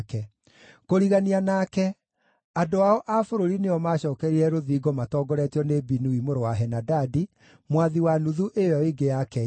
Kũrigania nake, andũ ao a bũrũri nĩo maacookereirie rũthingo matongoretio nĩ Binui mũrũ wa Henadadi, mwathi wa nuthu ĩyo ĩngĩ ya Keila.